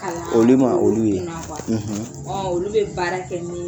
Kalan olu olu ye ma kɛ olu kuna kuwa bɛ baara kɛ ɔ olu bɛ baara kɛ min